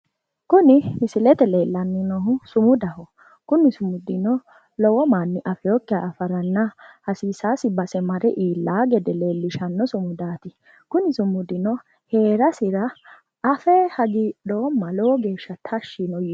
Kuni Misilete leellanni noohu sumudaho Kuni sumudino lowo manni afeekkiha afaranna hasiisaasi base mare iillaa gede leellishaasi sumudaati kuni sumudino heerasi afe lowo geeshsha hagiidhoomma lowo geeshsha tashshi yiinoe.